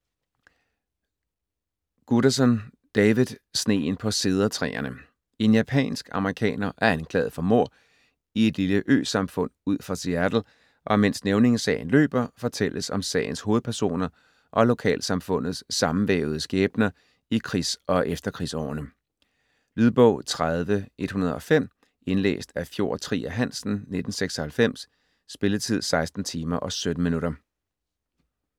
Guterson, David: Sneen på cedertræerne En japansk-amerikaner er anklaget for mord i et lille øsamfund ud for Seattle, og mens nævningesagen løber, fortælles om sagens hovedpersoner og lokalsamfundets sammenvævede skæbner i krigs- og efterkrigsårene. Lydbog 30105 Indlæst af Fjord Trier Hansen, 1996. Spilletid: 16 timer, 17 minutter.